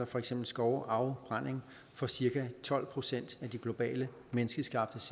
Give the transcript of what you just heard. for eksempel skovafbrænding for cirka tolv procent af de globale menneskeskabte